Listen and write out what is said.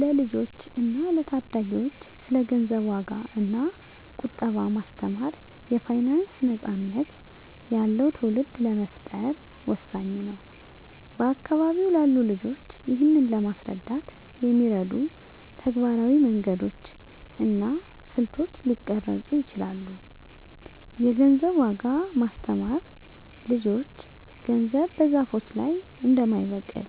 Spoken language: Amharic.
ለልጆች እና ለታዳጊዎች ስለ ገንዘብ ዋጋ እና ቁጠባ ማስተማር የፋይናንስ ነፃነት ያለው ትውልድ ለመፍጠር ወሳኝ ነው። በአካባቢው ላሉ ልጆች ይህንን ለማስረዳት የሚረዱ ተግባራዊ መንገዶች እና ስልቶች ሊቀረጹ ይችላሉ -የገንዘብን ዋጋ ማስተማር ልጆች ገንዘብ በዛፎች ላይ እንደማይበቅል፣